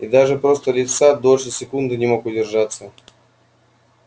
и даже просто лица дольше секунды не мог удержаться